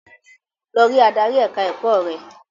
Lọ rí adarí ẹ̀ka-ẹ̀kọ́ rẹ!